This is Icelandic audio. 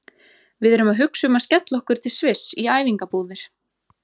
Við erum að hugsa um að skella okkur til Sviss í æfingabúðir.